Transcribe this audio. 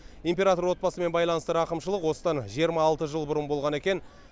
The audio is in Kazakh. император отбасымен байланысты рақымшылық осыдан жиырма алты жыл бұрын болған екен